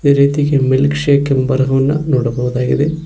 ಇದೇ ರೀತಿ milkshake ಎಂಬ ಬರಹವನ್ನ ನೋಡಬಹುದಾಗಿದೆ.